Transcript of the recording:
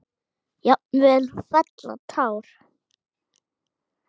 Jafnvel fella tár.